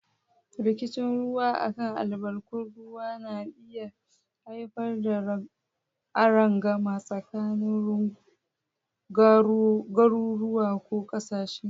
Rikicin ruwa a kan albarkatun ruwa na iya haifar da arangama tsakanin garuruwa ko kasashe.